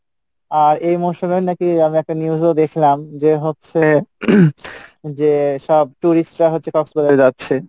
আর এই নাকি আমি একটা news ও দেখলাম যে হচ্ছে যে সব tourist রা হচ্ছে কক্সবাজারে যাচ্ছে